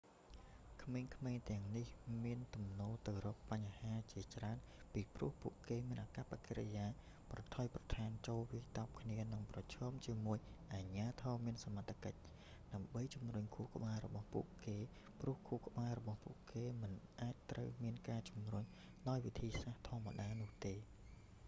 ក្មេងៗទាំងនេះមានទំនោរទៅរកបញ្ហាជាច្រើនពីព្រោះពួកគេ មានអាកប្បកិរិយាប្រថុយប្រថានចូលវាយតប់គ្នានិងប្រឈមជាមួយអាជ្ញាធរមានសមត្ថកិច្ច ដើម្បីជំរុញខួរក្បាលរបស់ពួកគេព្រោះខួរក្បាលរបស់ពួកគេមិនអាចត្រូវបានជំរុញដោយវិធីសាស្ត្រធម្មតានោះទេ